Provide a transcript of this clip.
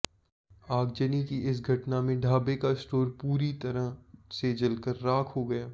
आगजनी की इस घटना में ढाबे का स्टोर पूरी तरह से जलकर राख हो गया